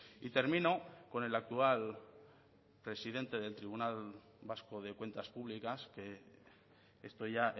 y termino con el actual presidente del tribunal vasco de cuentas públicas que esto ya